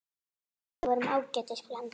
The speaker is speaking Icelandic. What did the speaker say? Við vorum ágætis blanda.